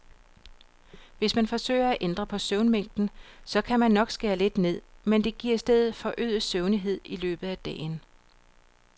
Hvis man forsøger at ændre på søvnmængden, så kan man nok skære lidt ned, men det giver i stedet forøget søvnighed i løbet af dagen.